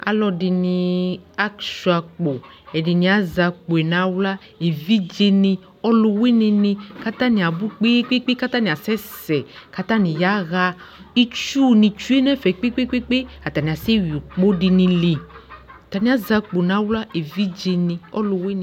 Alʋɛdɩnɩ asʋɩa'kpo , ɛdɩnɩ azɛ akpoe n'aɣla : evidzrnɩ, ɔlʋwɩnɩnɩ k'atanɩ abʋ kpeekpekpe ! K'atanɩ asɛ sɛ , k'atanɩ yaɣa Itsunɩ tsue n'ɛfɛ kpekpekpelpe ! Atanɩ asɛ yui ʋkpɔdɩnɩ li; atanɩ azɛ akpo n'aɣla evidzenɩ ɔlʋwɩnɩ